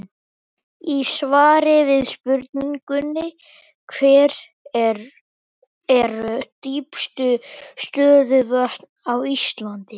Í svari við spurningunni Hver eru dýpstu stöðuvötn á Íslandi?